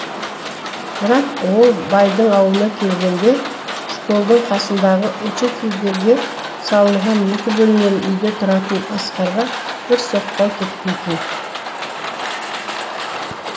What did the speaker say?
бірақ ол байдың аулына келгенде школдың қасындағы учительдерге салынған екі бөлмелі үйде тұратын асқарға бір соқпай кетпейтін